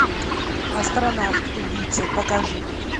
астронавт убийца покажи